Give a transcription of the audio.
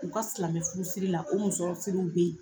U ka silamɛfurusiri la o musɔrɔsiriw be ye